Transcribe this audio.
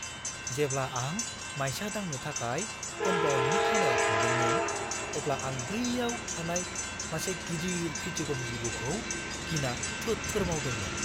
जेब्ला आं मायसा दांनो थाखाय कमपाउन्दनि खनायाव थांदोंमोन, अब्ला आं बैयाव थानाय मासे गिदिर फिथिगम जिबौखौ गिना थोर-थोर मावदोंमोन।